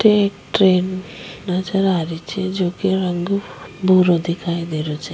एक ट्रैन नजर आ रही छे जेको रंग भूरो दिखाई दे रहो छे।